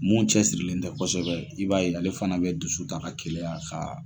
Mun cɛ sirilen tɛ kosɛbɛ, i b'a ye ale fɛnɛ bɛ dusu ta kelenya ka